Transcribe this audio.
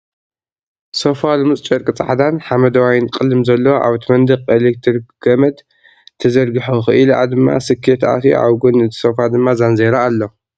ሶፋ ልሙፅ ጨርቂ ፃዕዳን ሓመደዋይን ቅልም ዘለዎ ኣብቲ መንቅ ኤልክትሪክ ገምድ ተዘርጊሑ ኽእሊኣ ድማ ስኬት ኣትዩ ኣብ ጎኒ እቲ ሶፋ ድማ ዛንዜራ ኣሎ ።